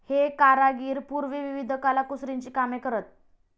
हे कारागीर पूर्वी विविध कलाकुसरीची कामे करत.